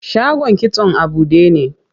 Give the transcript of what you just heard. Shagon kitson a buɗe ne.